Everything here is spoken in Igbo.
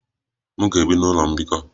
M ga-ebi n'ụlọ mbikọ.